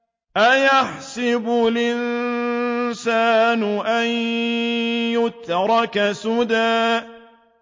أَيَحْسَبُ الْإِنسَانُ أَن يُتْرَكَ سُدًى